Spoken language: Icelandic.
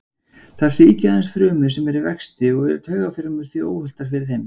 Þær sýkja aðeins frumur sem eru í vexti og eru taugafrumur því óhultar fyrir þeim.